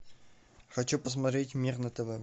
хочу посмотреть мир на тв